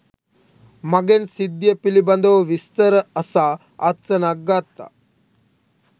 මගෙන් සිද්ධිය පිළිබඳව විස්තර අසා අත්සනක් ගත්තා